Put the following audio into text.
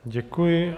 Děkuji.